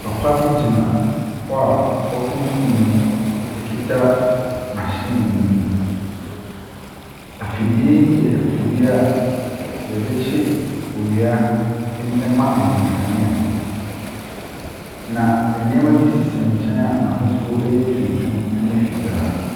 Papa bi gyina hɔ a wɔakuntun ne mu ekita mahyin bi mu. Afidie yi yɛ afidie a yɛdekye owia ma anyinam kanea. Na nneɛma binom sisi ne nkyɛn a n'ahosuo yɛ tuntum ne fitaa.